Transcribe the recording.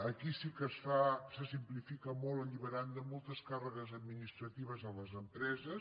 aquí sí que se simplifica molt alliberant de moltes càrregues administratives les empreses